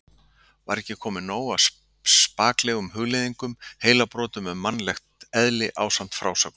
Var ekki komið nóg af spaklegum hugleiðingum, heilabrotum um mannlegt eðli ásamt frásögnum